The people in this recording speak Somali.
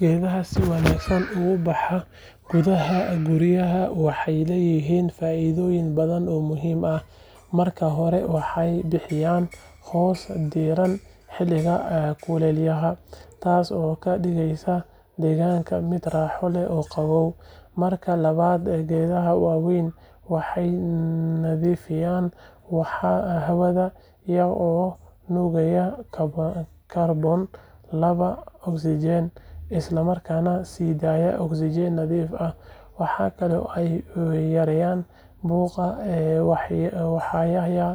Geedaha si wanaagsan ugu baxa gudaha guryaha waxay leeyihiin faa’iidooyin badan oo muhiim ah. Marka hore, waxay bixiyaan hoos diiran xilliga kulaylaha, taas oo ka dhigaysa deegaanka mid raaxo leh oo qabow. Marka labaad, geedaha waaweyn waxay nadiifiyaan hawada iyaga oo nuugaya kaarboon laba ogsaydh isla markaana sii daaya oksijiin nadiif ah. Waxa kale oo ay yareeyaan buuqa, waxayna